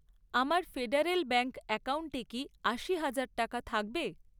আমার federal bank অ্যাকাউন্টে কি আশি হাজার টাকা থাকবে?